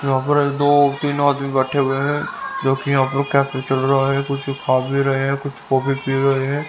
यहां पर दो तीन आदमी बैठे हुए हैं जो कि यहां पर कैफे चल रहा है कुछ खा-पी रहे हैं कुछ कॉफी पी रहे हैं।